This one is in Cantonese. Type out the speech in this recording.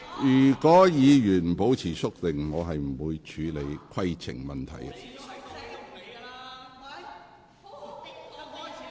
如委員不保持肅靜，我不會處理規程問題。